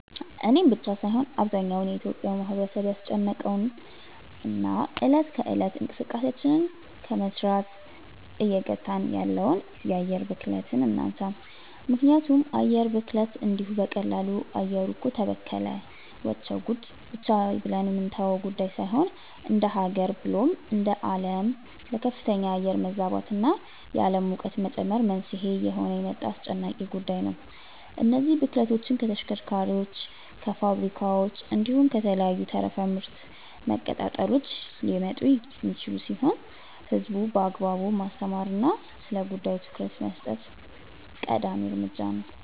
እኔን ብቻ ሳይሆን አብዛኛው የኢትዮጲያ ማህበረሰብን ያስጨነቀውን እና እለት ከእለት እንቅስቃሴያችንን ከመስራት እየገታን ያለውን የአየር ብክለትን እናንሳ። ምክንያቱም የአየር ብክለት እንዲሁ በቀላሉ “አየሩ እኮ ተበከለ… ወቸው ጉድ” ብቻ ብለን የምንተወው ጉዳይ ሳይሆን እንደሃገር ብሎም እንደአለም ለከፍተኛ የአየር መዛባት እና የአለም ሙቀት መጨመር መንስኤ እየሆነ የመጣ አስጨናቂ ጉዳይ ነው። እነዚህ ብክለቶች ከተሽከርካሪዎች፣ ከፋብሪካዎች፣ እንዲሁም ከተለያዩ ተረፈ ምርት መቀጣጠሎች ሊመጡ የሚችሉ ሲሆን ህዝቡን በአግባቡ ማስተማር እና ስለጉዳዩ ትኩረት መስጠት ቀዳሚ እርምጃ ነው።